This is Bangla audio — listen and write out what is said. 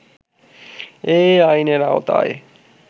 এই আইনের আওতায়